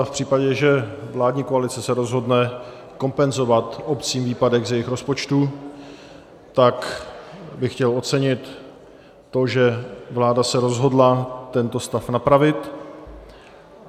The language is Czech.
A v případě, že vládní koalice se rozhodne kompenzovat obcím výpadek z jejich rozpočtu, tak bych chtěl ocenit to, že vláda se rozhodla tento stav napravit.